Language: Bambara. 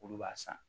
Olu b'a san